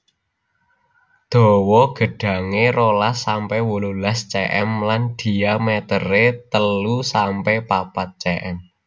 Dawa gedhange rolas sampe wolulas cm lan dhiamétéré telu sampe papat cm